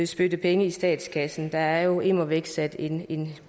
spytte penge i statskassen der er jo immer væk sat en en